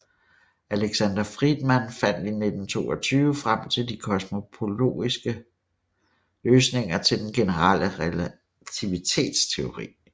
Alexander Friedman fandt i 1922 frem til de kosmologiske løsninger til den generelle relativitetsteori